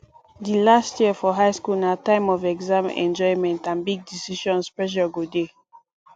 di last year for high school na time of exam enjoyment and big decisions pressure go dey